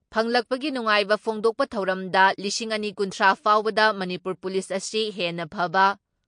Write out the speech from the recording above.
ꯐꯪꯂꯛꯄꯒꯤ ꯅꯨꯡꯉꯥꯏꯕ ꯐꯣꯡꯗꯣꯛꯄ ꯊꯧꯔꯝꯗ ꯂꯤꯁꯤꯡ ꯑꯅꯤ ꯀꯨꯟꯊ꯭ꯔꯥ ꯐꯥꯎꯕꯗ ꯃꯅꯤꯄꯨꯔ ꯄꯨꯂꯤꯁ ꯑꯁꯤ ꯍꯦꯟꯅ ꯐꯕ,